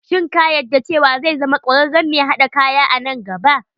Shin ka yadda cewa zai zama kwararren mai haɗa kaya a nn gaba.